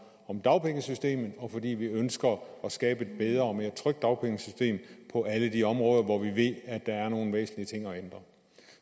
om dagpengesystemet og fordi vi ønsker at skabe et bedre og mere trygt dagpengesystem på alle de områder hvor vi ved at der er nogle væsentlige ting at ændre